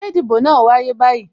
Ṣé ìdìbò náà wáyé báyìí?